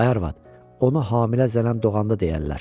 Ay arvad, onu hamilə zənən doğanda deyərlər.